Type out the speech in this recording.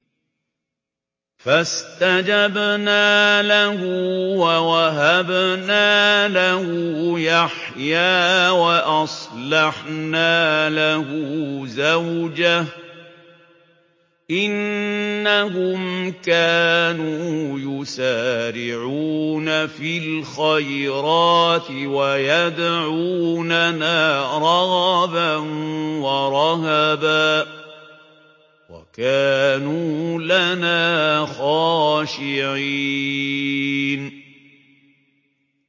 فَاسْتَجَبْنَا لَهُ وَوَهَبْنَا لَهُ يَحْيَىٰ وَأَصْلَحْنَا لَهُ زَوْجَهُ ۚ إِنَّهُمْ كَانُوا يُسَارِعُونَ فِي الْخَيْرَاتِ وَيَدْعُونَنَا رَغَبًا وَرَهَبًا ۖ وَكَانُوا لَنَا خَاشِعِينَ